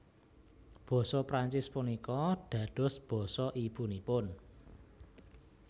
Basa Prancis punika dados basa ibunipun